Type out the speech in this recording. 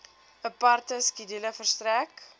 aparte skedule verstrek